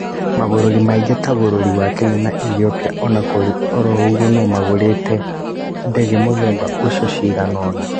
Mabũrũri mangĩ ta bũrũri wa Kenya na Ethiopia onakũrĩ oroũguo nĩmagũrĩte ndege mũthemba ũcio ciganona